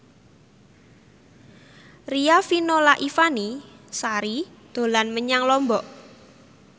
Riafinola Ifani Sari dolan menyang Lombok